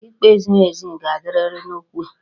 Ikpe ziri ezi ga-adịrịrị n'okwu a